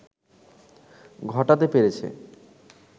ঘটাতে পেরেছে